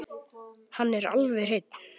Hann er alveg hreinn.